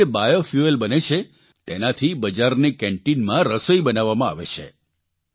અને જે બાયોફ્યુઅલ બને છે તેનાથી બજારની કેન્ટીનમાં રસોઇ કરવામાં આવે છે